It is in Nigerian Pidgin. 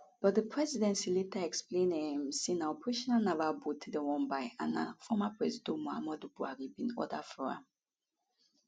but di presidency later explain um say na operational naval boat dem wan buy and na former presido muhammadu buhari bin order for am